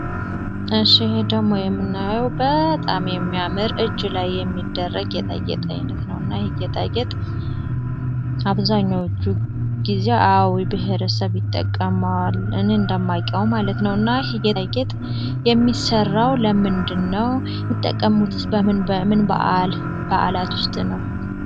እሺ ይሄ ደሞ የምናየው በጣም የሚያምር እጅ ላይ የሚደረግ የጌጣጌጥ አይነት ነው እና ይህ ጌጣጌጥ አብዛኞዎቹ ጊዜ አዊ ብሔረሰብ ይጠቀማዋልን። እንደማይቀው ማለት ነው እና ይህ ጌጣጌጥ የሚሰራው ለምንድ ነው ሚጠቀሙትስ በምን ባዓል በዓላት ውስጥ ነው።